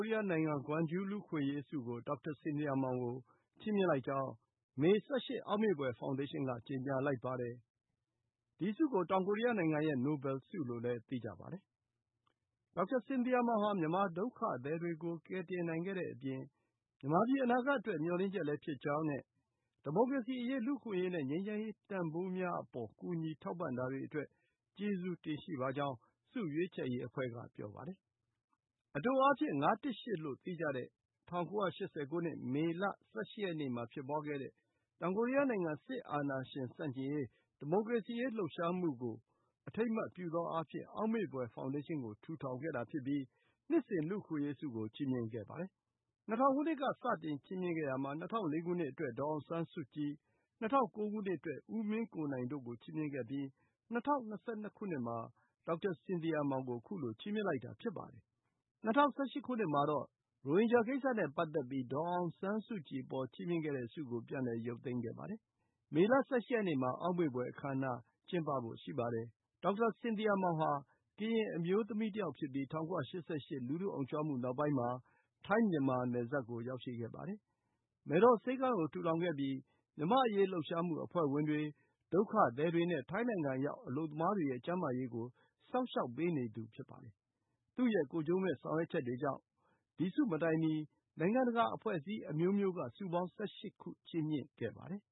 ရီးယားနိုင်ငံ ဂွမ်ဂျူးလူ့အခွင့်အရေးဆုကို ဒေါက်တာစင်သီယာမောင်ကို ချီးမြှင့်လိုက်ကြောင်း မေ ၁၈ အောက်မေ့ဖွယ် ဖောင်ဒေးရှင်းက ကြေညာလိုက်ပါတယ်။ ဒီဆုကို တောင်ကိုရီးယားနိုင်ငံရဲ့ နိုဘယ်ဆုလို့လည်း သိကြပါတယ်။ ဒေါက်တာစင်သီယာမောင်ဟာ မြန်မာဒုက္ခသည်တွေကို ကယ်တင်နိုင်ခဲ့တဲ့အပြင် မြန်မာပြည် အနာဂတ်အတွက် မျှော်လင့်ချက်လည်း ဖြစ်ကြောင်းနဲ့ ဒီမိုကရေစီအရေး၊ လူ့အခွင့်အရေးနဲ့ ငြိမ်းချမ်းရေးတန်ဖိုးများအပေါ် ကူညီထောက်ပံ့တာတွေအတွက် ကျေးဇူးတင်ကြောင်း ဆုရွေးချယ်ရေးအဖွဲ့က ပြောပါတယ်။ အတိုအားဖြင့် ၅၁၈ လို့ သိကြတဲ့ ၁၉၈၀ ခုနှစ်၊ မေလ ၁၈ ရက်နေ့မှာ ဖြစ်ပွါးခဲ့တဲ့ တောင်ကိုရီးယားနိုင်ငံ စစ်အာဏာရှင်ဆန့်ကျင်ရေး၊ ဒီမိုကရေစီလှုပ်ရှားမှုကို အထိမ်းအမှတ်ပြုသောအားဖြင့် အောက်မေ့ဖွယ် ဖောင်ဒေးရှင်းကို ထူထောင်ခဲ့တာဖြစ်ပြီး နှစ်စဉ် လူ့အခွင့်အရေးဆုကို ချီးမြှင့်ခဲ့ပါတယ်။ ၂၀၀၀ ခုနှစ်က စတင်ချီးမြှင့်ခဲ့ရာမှာ ၂၀၀၄ ခုနှစ်အတွက် ဒေါ်အောင်ဆန်းစုကြည်၊ ၂၀၀၉ ခုနှစ်အတွက် ဦးမင်းကိုနိုင်တို့ကို ချီးမြှင့်ခဲ့ပြီး ၂၀၂၂ ခုနှစ်မှာ ဒေါက်တာစင်သီယာမောင် ကို ခုလို ချီးမြှင့်လိုက်တာ ဖြစ်ပါတယ်။ ၂၀၁၈ ခုနှစ်မှာတော့ ရိုဟင်ဂျာကိစ္စနဲ့ပတ်သက်ပြီး ဒေါ်အောင်ဆန်းစုကြည်ကို ချီးမြှင့်ခဲ့တဲ့ဆုကို ပြန်လည် ရုပ်သိမ်းခဲ့ပါတယ်။ မေလ ၁၈ ရက်နေ့မှာ အောက်မေ့ဖွယ် အခမ်းအနား ကျင်းပဖို့ ရှိပါတယ်။ ဒေါက်တာစင်သီယာမောင်ဟာ ကရင်အမျိုးသမီးတယောက် ဖြစ်ပြီး ၁၉၈၈ လူထုအုံကြွမှု နောက်ပိုင်းမှာ ထိုင်း မြန်မာနယ်စပ်ကို ရောက်ရှိခဲ့ပါတယ်။ မယ်တော်ဆေးခန်းကို ထူထောင်ခဲ့ပြီး မြန်မာ့အရေးလှုပ်ရှားမှုအဖွဲ့ဝင်တွေ၊ ဒုက္ခသည်တွေနဲ့ ထိုင်းနိုင်ငံရောက် အလုပ်သမားတွေရဲ့ ကျန်းမာရေးကို စောင့်ရှောက်ပေးခဲ့သူ ဖြစ်ပါတယ်။ သူ့ရဲ့ကိုယ်ကျိုးမဲ့ ဆောင်ရွက်ချက်တွေကြောင့် ဒီ ဆုမတိုင်မီ နိုင်ငံတကာ အဖွဲ့အစည်းအမျိုးမျိုးက ဆုပေါင်း ၁၈ ခု ချီးမြှင့်ခဲ့ပါတယ်